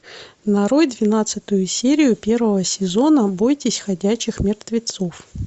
нарой двенадцатую серию первого сезона бойтесь ходячих мертвецов